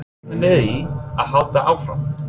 Má reikna með því að hann haldi áfram?